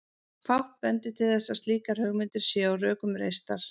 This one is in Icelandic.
Fátt bendir til þess að slíkar hugmyndir séu á rökum reistar.